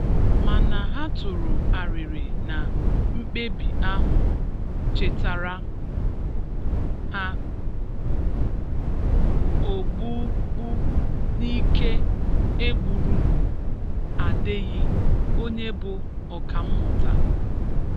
Mana ha tụrụ arịrị na mkpebi ahụ chetara ha ogbụgbu n'ike e gburu Adeyi, onye bụ ọkammụta.